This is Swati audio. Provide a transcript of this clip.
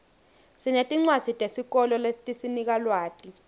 sinetincwadzi tesikolo letisinika lwati